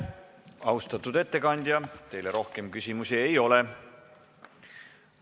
Austatud ettekandja, teile rohkem küsimusi ei ole.